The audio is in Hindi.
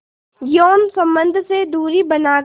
यौन संबंध से दूरी बनाकर